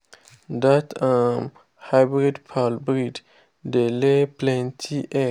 that um hybrid fowl breed dey lay plenty egg.